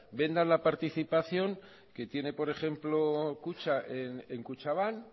vendan la participación que tiene por ejemplo kutxa en kutxabank